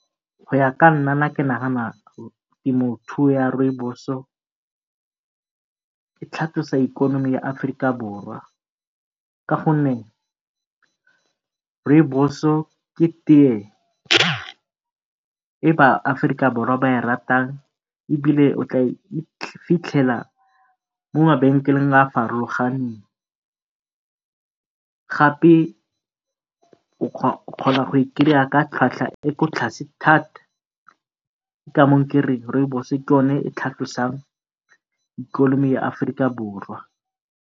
Go ya ka nna ke nagana temothuo ya rooibos-o e tlhatlosa ikonomi ya Aforika Borwa gonne rooibos ke tee e ba-Aforika Borwa ba e ratang e bile o tla e fitlhela mo mabenkeleng a a farologaneng, gape o kgona go e ka tlhwatlhwa e e kwa tlase thata. Ke ka moo kereng rooibos ke yone e e tlhatlosang ikonomi ya Aforika Borwa.